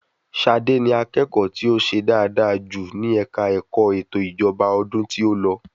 Ṣadé ni akẹ́ẹ̀ko ti o ṣe dáadáa jù ní ẹ̀ka ẹ̀kọ́ ẹ̀tò ìjọba ọdún tí o lọ